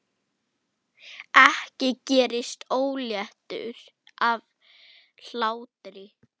Ég gerist óléttur af hlátri.